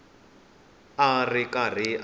a a ri karhi a